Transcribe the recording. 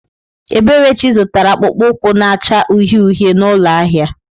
Eberechi zụtara akpụkpọ ụkwụ na-acha uhie uhie n'ụlọ ahịa.